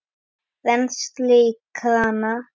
Rennsli í krana!